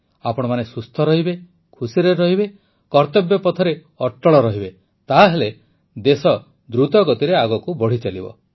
ଆପଣମାନେ ସୁସ୍ଥ ରହିବେ ଖୁସିରେ ରହିବେ କର୍ତବ୍ୟ ପଥରେ ଅଟଳ ରହିବେ ତା ହେଲେ ଦେଶ ଦ୍ରୁତ ଗତିରେ ଆଗକୁ ବଢ଼ିଚାଲିବ